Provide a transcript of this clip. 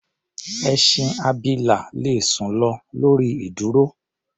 Ẹṣin abilà le sùn lọ lórí ìdúró.